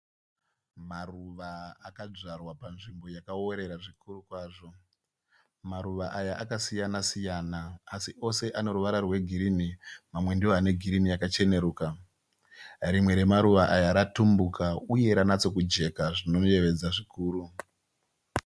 Maruva akadzvarwa panzvimbo yakaworera zvikuru kwazvo. Maruva aya akasiyana siyana asi ose ane ruvara rwegirinhi. Mamwe ndiwo ane girinhi yakacheneruka. Rimwe remaruva aya ratumbuka uye ranatsokujeka zvinoyevedza zvikuru.